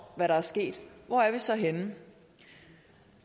hvad der er sket hvor er vi så henne